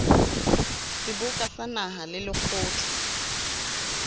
seboka sa naha le lekgotla